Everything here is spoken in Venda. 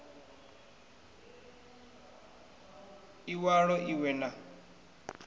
i walo i we na